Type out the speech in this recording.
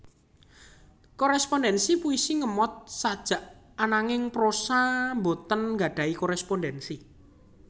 Korespondensi puisi ngemot sajak ananging prosa boten nggadhahi korespondensi